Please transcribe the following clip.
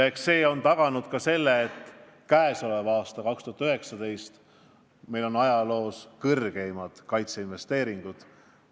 Eks see on taganud ka selle, et käesoleval, 2019. aastal on meil ajaloo suurimad kaitseinvesteeringud.